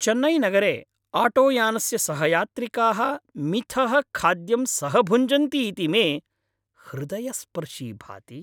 चेन्नैनगरे आटोयानस्य सहयात्रिकाः मिथः खाद्यं सहभुञ्जन्ति इति मे हृदयस्पर्शी भाति।